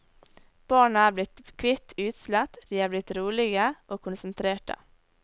Barna er blitt kvitt utslett, de er blitt rolige og konsentrerte.